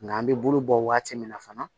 Nga an be bolo bɔ waati min na fana